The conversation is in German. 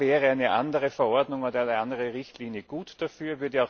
Da wäre eine andere Verordnung oder eine andere Richtlinie gut dafür.